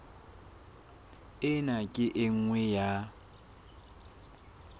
ena ke e nngwe ya